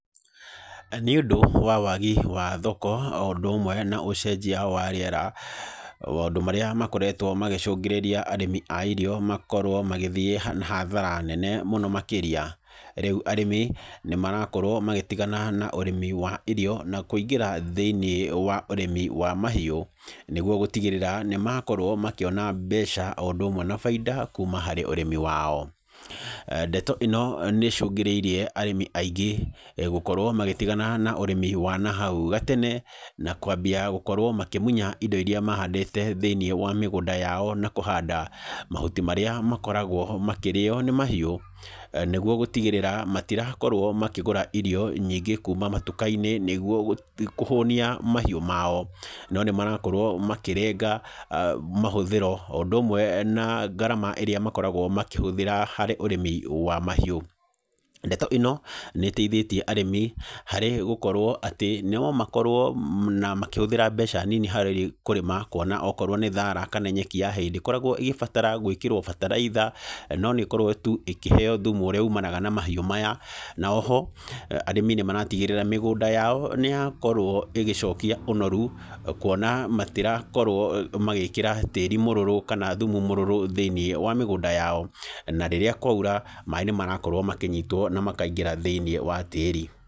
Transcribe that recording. Nĩ ũndũ wa waagi wa thoko o ũndũ ũmwe na ũcenjia wa rĩera, maũndũ marĩa makoretwo magĩcũngĩrĩria arĩmi a irio makorwo magĩthiĩ na hathara nene mũno makĩria. Rĩu arĩmi, nĩ marakorwo magĩtigana na ũrĩmi wa irio, na kũingĩra thĩiniĩ wa ũrĩmi wa mahiũ, nĩguo gũtigĩrĩra, nĩ makorwo makĩona mbeca o ũndũ ũmwe na baida, kuuma harĩ ũrĩmi wao. Ndeto ĩno, nĩ ĩcũngĩrĩirie arĩmi aingĩ gũkorwo magĩtigana na ũrĩmi wa nahau gatene, na kwambia gũkorwo makĩmunya indo irĩa mahandĩte thĩiniĩ wa mĩgũnda yao na kũhanda, mahuti marĩa makoragwo makĩrĩo nĩ mahiũ, nĩguo gũtigĩrĩra, matirakorwo makĩgũra irio nyingĩ kuuma matuka-inĩ nĩguo kũhũnia mahiũ mao. No nĩ marakorwo makĩrenga mahũthĩro o ũndũ ũmwe na ngarama ĩrĩa makoragwo makĩhũthĩra harĩ ũrĩmi wa mahiũ. Ndeto ĩno, nĩ ĩteithĩtie arĩmi, harĩ gũkorwo atĩ no makorwo na makĩhũthĩra mbeca nini harĩ kũrĩma, kuona okorwo nĩ thaara kana nyeki ya hay, ndĩkoragwo ĩgĩbatara gwĩkĩrwo bataraitha, no nĩ ĩkorwo tu ĩkĩheeo thumu ũrĩa umanaga na mahiũ maya. Na oho, arĩmi nĩ maratigĩrĩra, mĩgũnda yao nĩ yakorwo ĩgĩcokia ũnoru, kuona matirakorwo magĩkĩra tĩri mũrũrũ, kana thumu mũrũrũ thĩiniĩ wa mĩgũnda yao. Na rĩrĩa kwaura, maĩ nĩ marakorwo makĩnyitwo na makaingĩra thĩiniĩ wa tĩri.